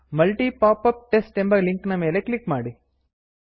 multi popup test ಎಂಬ link ನ ಮೇಲೆ ಕ್ಲಿಕ್ ಮಾಡಿ